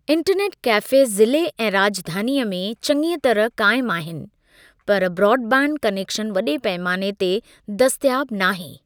Internet cafe ज़िले ऐं राॼधानीअ में चङीअ तरह क़ाइमु आहिनि, पर ब्रॉड बैंड कनेकशन वॾे पैमाने ते दस्तयाब नाहे।